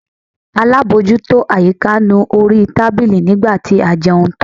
Alábòjútó àyíká nu orí tábìlì nígbà tí a jẹun tán.